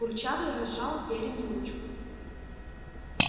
курчавый разжал верину ручку